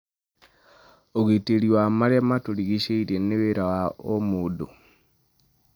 ũrangĩri wa marĩa matũrigicĩirie nĩ wĩra wa o mũndũ.